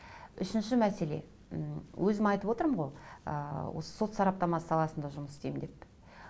үшінші мәселе м өзім айтып отырмын ғой ы сот сараптамасы саласында жұмыс істеймін деп